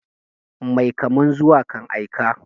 Mai kaman zuwa kan aika.